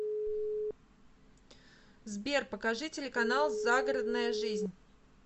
сбер покажи телеканал загородная жизнь